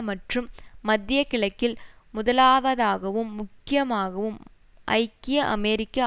மற்றும் மத்திய கிழக்கில் முதலாவதாகவும் முக்கியமாகவும் ஐக்கிய அமெரிக்க